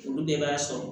Olu de b'a sɔrɔ